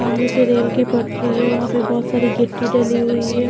सामने से रेल की पटरी है वहां पर बहुत सारी घिट्टी डली हुई है।